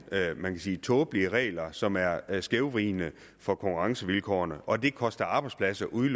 tåbelige regler som er er skævvridende for konkurrencevilkårene og at det koster arbejdspladser ude